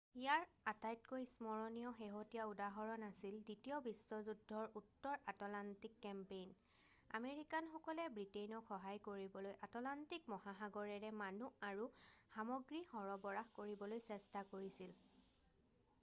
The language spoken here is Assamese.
ইয়াৰ আটাইতকৈ স্মৰণীয় শেহতীয়া উদাহৰণ আছিল দ্বিতীয় বিশ্বযুদ্ধৰ উত্তৰ আটলাণ্টিক কেম্পেইন আমেৰিকানসকলে ব্ৰিটেইনক সহায় কৰিবলৈ আটলাণ্টিক মহাসাগৰেৰে মানুহ আৰু সামগ্ৰী সৰবৰাহ কৰিবলৈ চেষ্টা কৰিছিল